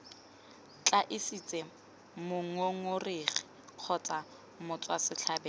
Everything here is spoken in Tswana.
tla itsise mongongoregi kgotsa motswasetlhabelo